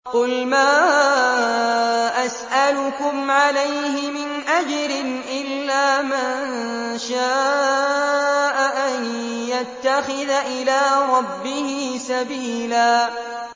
قُلْ مَا أَسْأَلُكُمْ عَلَيْهِ مِنْ أَجْرٍ إِلَّا مَن شَاءَ أَن يَتَّخِذَ إِلَىٰ رَبِّهِ سَبِيلًا